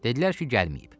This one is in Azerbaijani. Dedilər ki, gəlməyib.